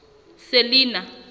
selinah